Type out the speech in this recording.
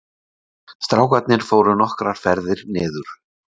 Strákarnir fóru nokkrar ferðir niður